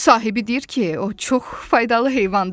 Sahibi deyir ki, o çox faydalı heyvandır.